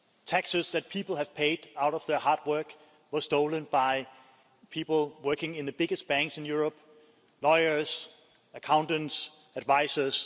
Taxes that people have paid out of their hard work were stolen by people working in the biggest banks in Europe lawyers, accountants, advisors.